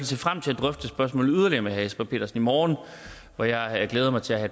se frem til at drøfte spørgsmålet yderligere med herre jesper petersen i morgen hvor jeg glæder mig til at